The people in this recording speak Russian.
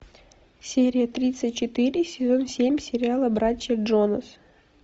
серия тридцать четыре сезон семь сериала братья джонас